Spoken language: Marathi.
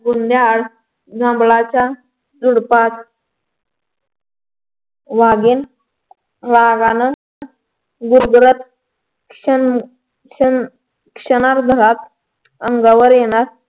बुंध्याआड जंगलाच्या झुडपात वाघीण वाघानं जोरजोरात क्षण क्षण अह क्षणभरात अंगावर येणार